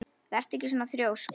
Vertu ekki svona þrjósk!